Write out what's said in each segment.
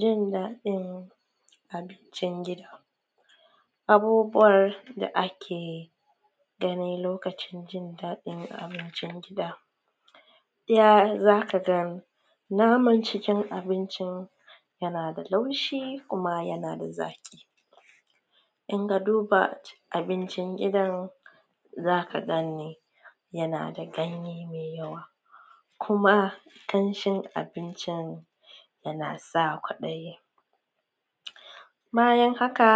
Jin dadin abincin gida, abubuwan da ake gani lokacin jin dadin abincin gida za ka ga naman cikin abincin yana da laushi kuma yana da zaki in ka duba abincin gidan za ka da ganye mai yawa kuma ƙanshin abincin yana sa kwaɗayi bayan haka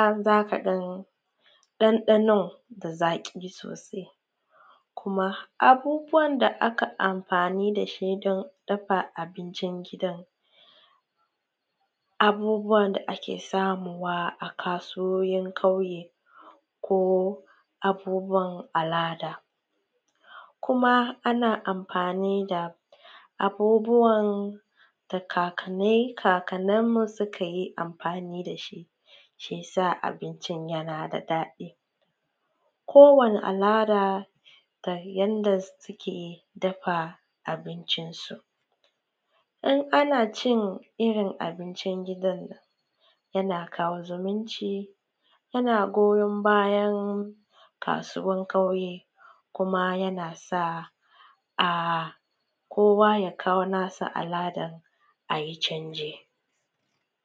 dandanon da zaki sosai kuma abubuwan da aka amfani da shi wajen dafa abinci gida abubuwan da ake samowa a kasuwannin ƙauye ne ko abubuwan al'ada kuma ana amfani da abubuwan da kakanninmu suka yi amfani da shi shi ya sa abincin yana da daɗi. Kowanne al'ada da yadda suke dafa abincin, ina ana cin irin abincin gida yana kawo zumunci yana goyon bayan kasuwan ƙauye kuma yana sa kowa ya kawo nasa al'adar a yi canje.